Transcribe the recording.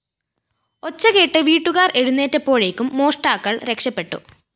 ഒച്ച കേട്ട് വീട്ടുകാര്‍ എഴുന്നേറ്റപ്പോഴേക്കും മോഷ്ടാക്കള്‍ രക്ഷപ്പെട്ടു